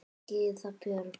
Gyða Björk.